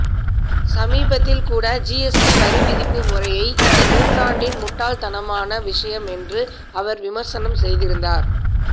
சமீபத்தில்கூட GST வரிவிதிப்பு முறை இந்த நூற்றாண்டின் முட்டாள்தனமான விஷயம் என்று அவர் விமர்சனம் செய்திருந்தார்